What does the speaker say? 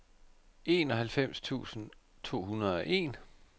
enoghalvfems tusind to hundrede og en